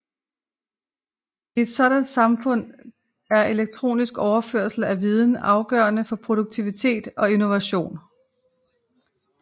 I et sådant samfund er elektronisk overførsel af viden afgørende for produktivitet og innovation